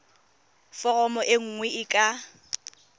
foromo e nngwe e ka